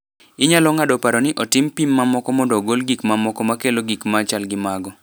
Inyalo ng’ado paro ni otim pim mamoko mondo ogol gik mamoko ma kelo gik ma chal gi mago.